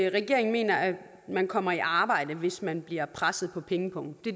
regeringen mener at man kommer i arbejde hvis man bliver presset på pengepungen